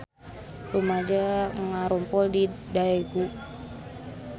Rumaja ngarumpul di Daegu